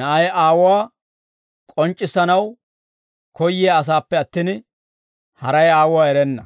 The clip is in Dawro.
Na'ay Aawuwaa k'onc'c'issanaw koyyiyaa asaappe attin, haray Aawuwaa erenna.